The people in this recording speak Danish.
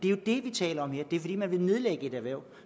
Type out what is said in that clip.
er det vi taler om det er fordi man vil nedlægge et erhverv